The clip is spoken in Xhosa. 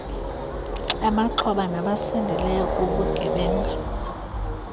abaxhoba nabasindileyo kubugebenga